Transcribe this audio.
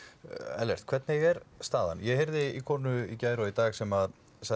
Ellert hvernig er staðan ég heyrði í konu í gær og í dag sem sagði